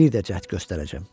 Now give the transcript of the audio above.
Bir də cəhd göstərəcəyəm.